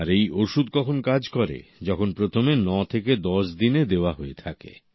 আর এই অউষুধ কখন কাজ করে যখন প্রথমে 9 থেকে 10 দিনে দেওয়া হয়ে থাকে